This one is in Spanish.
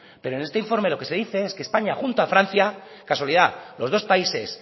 pero en este informe es que españa junto a francia casualidad los dos países